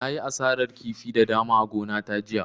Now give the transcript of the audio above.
Na yi asarar kifi da dama a gona ta jiya